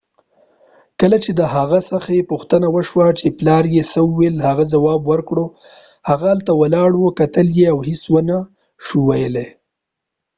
کله چې د هغې څخه پوښتنه وشوه چې پلار دي څه وويل ، هغې جواب ورکړ : هغه هلته ولاړ و کتل یې او هیڅ و نه شو ويلای